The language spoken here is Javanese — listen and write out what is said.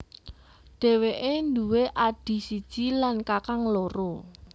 Dheweke nduwe adhi siji lan kakang loro